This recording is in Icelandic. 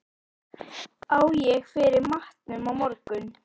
Á ég fyrir matnum á morgun?